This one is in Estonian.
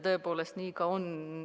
Tõepoolest nii ka oli.